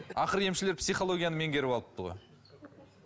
ақыры емшілер психологияны меңгеріп алыпты ғой